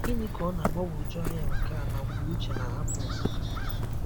Ginika ọ na-agbagwoju anya nke a na mgbe Uche na-ahapụ Nsukka?